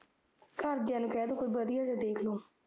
ਘਰਦਿਆ ਨੂੰ ਕਹਿ ਦੋ ਕੋਈ ਵਧੀਆ ਜਿਹਾ ਦੇਖਲੋ